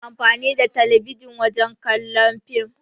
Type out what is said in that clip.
Muna amfani da talabijin wajen kallon fim.